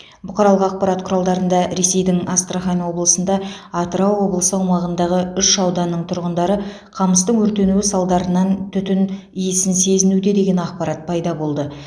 бұқаралық ақпарат құралдарында ресейдің астрахань облысында атырау облысы аумағындағы үш ауданның тұрғындары қамыстың өртенуі салдарынан түтін иісін сезінуде деген ақпарат пайда болды